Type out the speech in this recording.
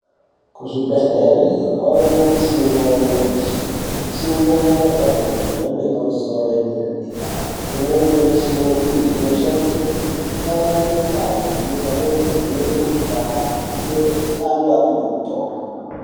Kuzvibhedhlere kwave nemishina yanyamashi. Mishina yakagadzirwa yemhando yepamusoro yedera-dera. Imweni yemishina iyi inoshandiswe kutarire ngazi pamwe nekuvheneke mikhuhlani kuitire kuti antu apihwe mitombo.